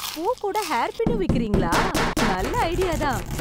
பூ கூட ஹேர்பின்னும் விக்கிறீங்களா, நல்ல ஐடியா தான்.